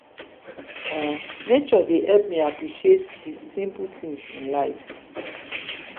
um nature dey help me appreciate di simple things in life.